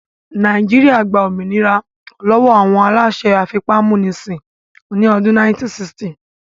Nàìjíríyà gba òmìnira lọ́wọ́ àwọn aláṣẹ afipámúnisìn ní ọdún 1960